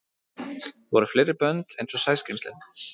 Voru fleiri bönd einsog Sæskrímslin?